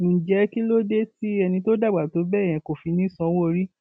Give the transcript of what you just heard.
ǹjẹ kí ló dé tí ẹni tó dàgbà tó bẹẹ yẹn kò fi ní í sanwóorí